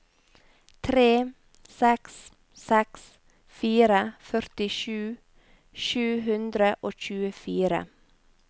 tre seks seks fire førtisju sju hundre og tjuefire